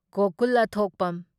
ꯒꯣꯀꯨꯜ ꯑꯊꯣꯛꯄꯝ